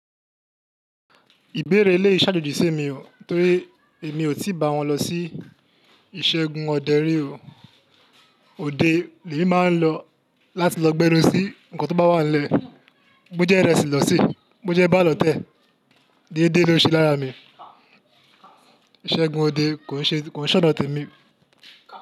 Ìbéèrè eléè ṣàjoojí sí mi o, torí èmi ò tí bà wọ́n lọ sí ìṣẹ́gun òde rí o. Òde, èmi máa ń lọ láti lọ gbẹ́nú sí nnkan tó bá wà nílẹ̀. Bojẹ ìrẹsì lọ se, bojẹ ebà lotẹ́, déédéé ló ṣe láya mi. Ìṣẹ́gun òde kò ń ṣe ona temi.